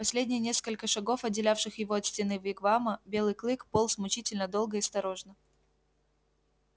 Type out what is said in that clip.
последние несколько шагов отделявших его от стены вигвама белый клык полз мучительно долго и осторожно